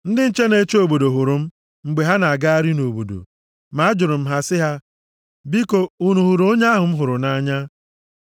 Ndị nche na-eche obodo + 3:3 \+xt Aịz 21:11-12\+xt* hụrụ m, mgbe ha na-agagharị nʼobodo, ma ajụrụ m ha sị, “Biko, unu hụrụ onye ahụ m hụrụ nʼanya?”